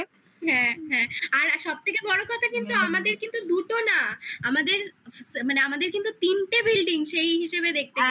হ্যাঁ আর সব থেকে বড় কথা কিন্তু আমাদের কিন্তু দুটো না আমাদের কিন্তু তিনটে building সেই হিসেবে দেখতে